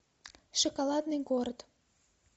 шоколадный город